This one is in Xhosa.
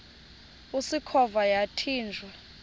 usikhova yathinjw a